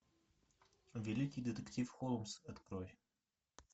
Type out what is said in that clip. великий детектив холмс открой